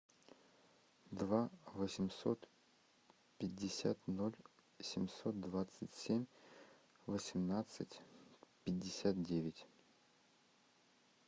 два восемьсот пятьдесят ноль семьсот двадцать семь восемнадцать пятьдесят девять